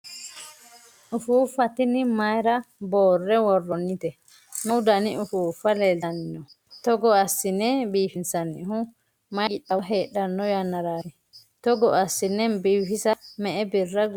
ufuuffa tini mayiira boorre worroonnite? meu dani ufuuffa leeltanni no? togo assine biifinsannihu mayi qixxaawo heedhanno yannaraati? togo assine biifisa me''e birra guddanno?